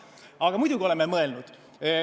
Aga muidugi oleme mõelnud.